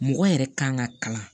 Mɔgɔ yɛrɛ kan ka kalan